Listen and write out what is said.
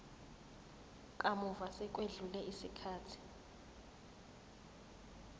kamuva sekwedlule isikhathi